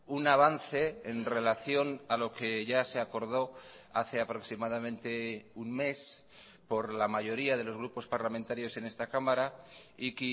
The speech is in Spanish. un avance en relación a lo que ya se acordó hace aproximadamente un mes por la mayoría de los grupos parlamentarios en esta cámara y